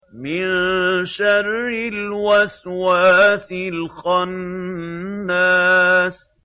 مِن شَرِّ الْوَسْوَاسِ الْخَنَّاسِ